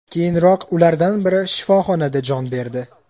Keyinroq ulardan biri shifoxonada jon berdi.